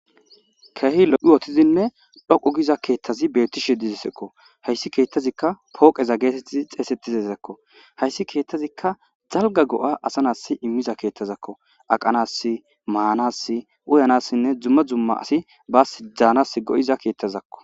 Keehi lo'i wotizinne dhoqu giza keettazi beettishe dizisekko hayssi keettazikka pooqeza geetettizi xeesettizezakko hayssi keettazikka zalga go'a asanas immiza keettazakko aqanas maanass uyanassinne dzumma zumma asi baas daanas go'iza keettazakko.